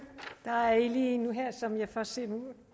der er lige en her som jeg først ser nu